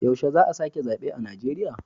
Yaushe za a sake zabe a Najeriya.